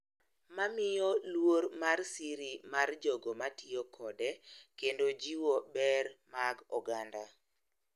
Mamiyo luor mar siri mar jogo matiyo kode kendo jiwo ber mag oganda